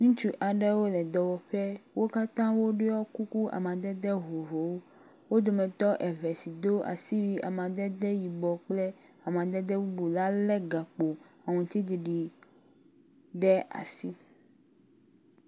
Ŋutsu aɖewo le dɔwɔƒe wo katã woɖɔ kuku amadede vovovowo. Wo dometɔ eve si do asiwui amadede yibɔ kple amadede bubu la lé gakpo aŋutiɖiɖi ɖe asi.